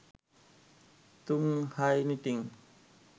তুং হাই নিটিং